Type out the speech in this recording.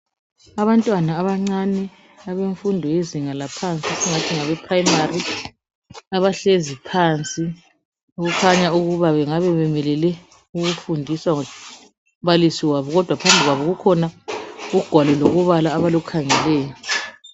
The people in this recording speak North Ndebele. Abantwana abancane abafunda izinga laphansi esingathi yinprimary abahlezi phansi okukhnya ukuba bengabe bemelele ukufundiswa ngumbalisi wabo kodwa phambi kwabo kukhona ugwalo lokubala abalukhangeleyo